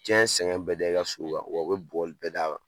Diɲɛ sɛŋɛn bɛɛ da i ka so kan wa u be bugɔli bɛɛ d'a kan.